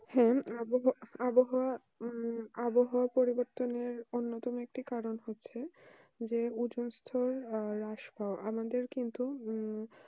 হ্যাঁ আবহাওয়া আবহাওয়া হম আবহাওয়া পরিবর্তনে অন্য কোন কারণ হচ্ছে যে ওজোনকিন্তু উম